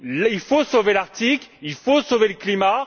Il faut sauver l'Arctique, il faut sauver le climat.